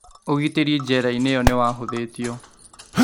Ũgitĩri njera-inĩ ĩyo nĩwahũthĩtio